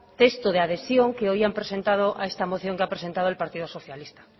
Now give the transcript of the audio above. texto de adhesión que hoy ha presentado a esta moción el partido socialista